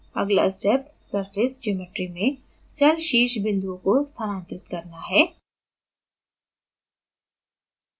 अगला step surface geometry में cell शीर्ष बिंदुओं को स्थानांतरित करना है